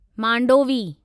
Mandovi